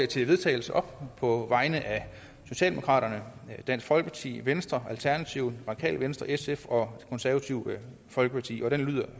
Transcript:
til vedtagelse op på vegne af socialdemokraterne dansk folkeparti venstre alternativet radikale venstre sf og konservative folkeparti og det lyder